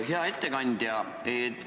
Hea ettekandja!